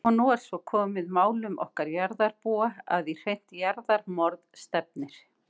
Og nú er svo komið málum okkar jarðarbúa að í hreint jarðarmorð stefnir.